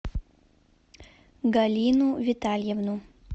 галину витальевну